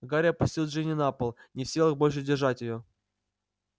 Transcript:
гарри опустил джинни на пол не в силах больше держать её